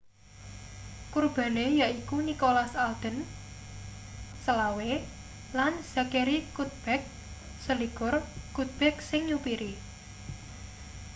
kurbane yaiku nicholas alden 25 lan zachery cuddeback 21 cuddeback sing nyupiri